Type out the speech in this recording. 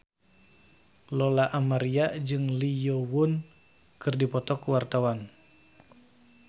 Lola Amaria jeung Lee Yo Won keur dipoto ku wartawan